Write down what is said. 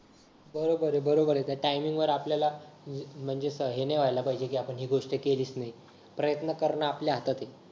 हो बरोबर बरोबरय त्या टाईमिंग वर आपल्याला म्हणजे हे नाही व्हायला पाहिजे की आपण ही गोष्ट केलीच नाही प्रयत्न करण आपल्या हातातय